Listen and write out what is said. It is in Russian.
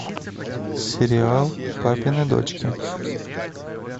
сериал папины дочки